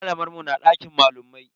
Malamar mu na dakin malamai.